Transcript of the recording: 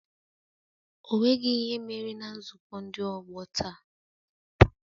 Ọ nweghị ihe mere na nzukọ ndị ọgbọ taa